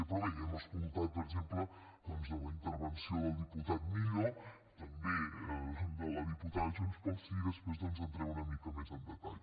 però bé ja hem escoltat per exemple doncs la intervenció del diputat millo també de la diputada de junts pel sí i després doncs hi entraré una mica més en detall